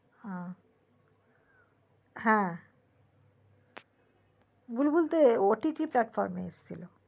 হম হ্যা বুলবুল তো OTT platform এ এসে ছিল